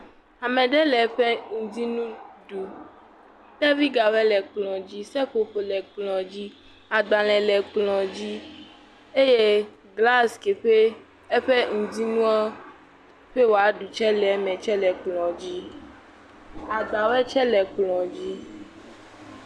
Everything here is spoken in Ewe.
Ame ɖe le eƒe ŋdi nu ɖum, kpevigawo le kplɔ dzi, seƒoƒo le kplɔ dzi, agbalẽ kplɔ dzi eye glas ke ƒe eƒe ŋdi nuɔ ƒe wòaɖu tsɛ le me tsɛ le kplɔ dzi. Agbawo tsɛ le kplɔ dzi.